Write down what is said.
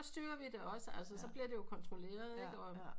Sådan styrer vi det også altså så bliver det kontrolleret ikke